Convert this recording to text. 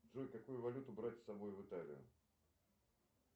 джой какую валюту брать с собой в италию